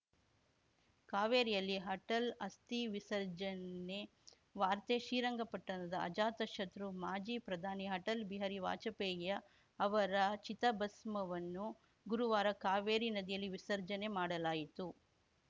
ಕಾವೇರಿಯಲ್ಲಿ ಅಟಲ್‌ ಅಸ್ಥಿ ವಿಸರ್ಜನೆ ವಾರ್ತೆ ಶ್ರೀರಂಗಪಟ್ಟಣ ಅಜಾತ ಶತ್ರು ಮಾಜಿ ಪ್ರಧಾನಿ ಅಟಲ್ ಬಿಹಾರಿ ವಾಜಪೇಯಿಯ ಅವರ ಚಿತಾಭಸ್ಮವನ್ನು ಗುರುವಾರ ಕಾವೇರಿ ನದಿಯಲ್ಲಿ ವಿಸರ್ಜನೆ ಮಾಡಲಾಯಿತು